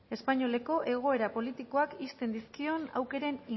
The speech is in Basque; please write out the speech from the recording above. espainoleko egoera politikoak ixten dizkion aukeren